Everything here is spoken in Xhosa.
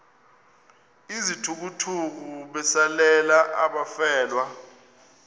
izithukuthuku besalela abafelwa